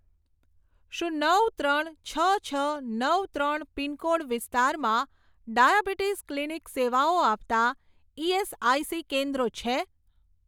શું નવ ત્રણ છ છ નવ ત્રણ પિનકોડ વિસ્તારમાં ડાયાબીટિસ ક્લિનિક સેવાઓ આપતાં ઇએસઆઇસી કેન્દ્રો છે?